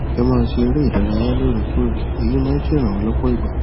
ẹ máa ṣe eré ìdárayá lóòrèkóòrè èyí máa ń ṣèrànwọ lọpọ ìgbà